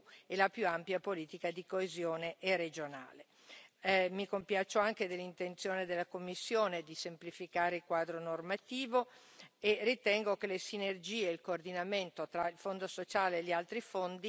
Mi compiaccio anche dell'intenzione della Commissione di semplificare il quadro normativo e ritengo che le sinergie e il coordinamento tra il fondo sociale e gli altri fondi rappresenti un importante fattore di miglioramento.